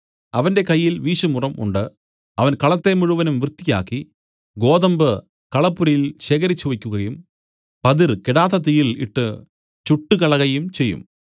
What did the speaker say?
അവന്റെ കയ്യിൽ വീശുമുറം ഉണ്ട് അവൻ കളത്തെ മുഴുവനും വൃത്തിയാക്കി ഗോതമ്പു കളപ്പുരയിൽ ശേഖരിച്ചുവെക്കുകയും പതിർ കെടാത്ത തീയിൽ ഇട്ട് ചുട്ടുകളകയും ചെയ്യും